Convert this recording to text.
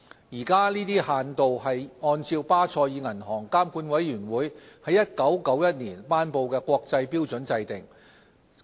現時，這些限度是按照巴塞爾銀行監管委員會在1991年頒布的國際標準制訂。